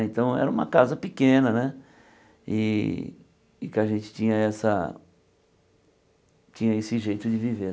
Então, era uma casa pequena né e e que a gente tinha essa tinha esse jeito de viver.